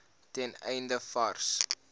ten einde vars